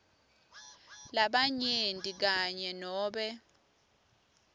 labanyenti kanye nobe